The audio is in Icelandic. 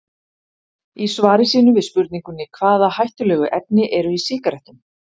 Í svari sínu við spurningunni Hvaða hættulegu efni eru í sígarettum?